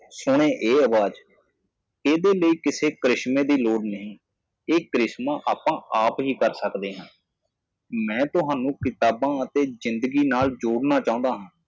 ਇਸ ਆਵਾਜ਼ ਨੂੰ ਸੁਣੋ ਇਹ ਕੋਈ ਕਰਿਸ਼ਮਾ ਨਹੀਂ ਲੈਂਦਾ ਅਸੀਂ ਇਹ ਚਮਤਕਾਰ ਆਪਣੇ ਆਪ ਕਰ ਸਕਦੇ ਹਾਂ ਮੈਂ ਤੁਹਾਨੂੰ ਕਿਤਾਬ ਅਤੇ ਜ਼ਿੰਦਗੀ ਨਾਲ ਜੋੜਨਾ ਚਾਹੁੰਦਾ ਹਾਂ